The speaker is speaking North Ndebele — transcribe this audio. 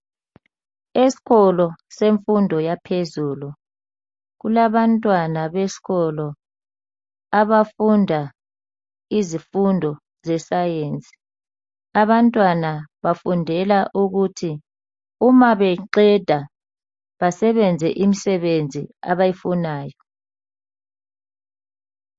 Esikolo semfundo yaphezulu kulabantwana besisikolo abafunda izifundo ze science. Abantwana bafundela ukuthi uma beqeda basebenze imisebenzi abayifunayo.